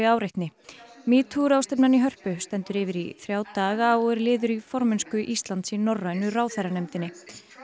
áreitni metoo ráðstefnan í Hörpu stendur yfir í þrjá daga og er liður í formennsku Íslands í Norrænu ráðherranefndinni